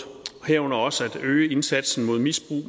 herunder også at øge indsatsen mod misbrug